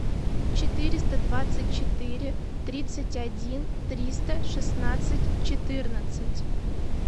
четыреста двадцать четыре тридцать один триста шестнадцать четырнадцать